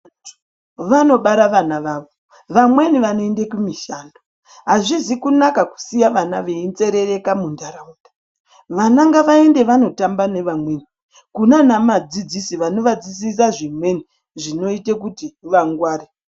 Anthu vanobara vana vavo vamweni vanoende kumishando azvizi kunaka kusiye vana veinzerereka muntharaunda vana ngavaende vanotamba nevamweni kunana madzidzisi vanovadzidzisa zvimweni zvinoite kuti vangware.